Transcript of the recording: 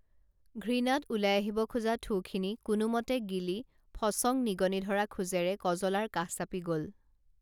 ঘৃণাত ওলাই আহিব খোজা থুখিনি কোনোমতে গিলি ফচং নিগনি ধৰা খোজেৰে কজলাৰ কাষ চাপি গল